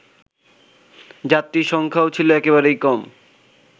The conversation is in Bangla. যাত্রীর সংখ্যাও ছিল একেবারেই কম